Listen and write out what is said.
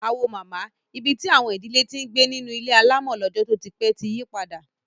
Awo mama, ibi tí àwọn ìdílé ti ń gbé nínú ilé alámọ̀ lọ́jọ́ tó ti pẹ́, ti yí padà